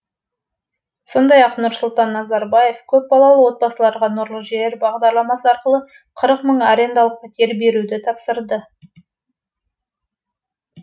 сондай ақ нұрсұлтан назарбаев көпбалалы отбасыларға нұрлы жер бағдарламасы арқылы қырық мың арендалық пәтер беруді тапсырды